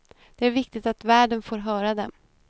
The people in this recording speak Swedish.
Det är viktigt att världen får höra dem.